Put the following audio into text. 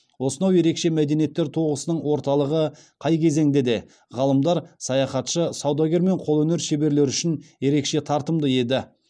осынау ерекше мәдениеттер тоғысының орталығы қай кезеңде де ғалымдар саяхатшы саудагер мен қолөнер шеберлері үшін ерекше тартымды еді